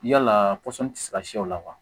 Yala pɔsɔn tɛ se ka siyɛ o la wa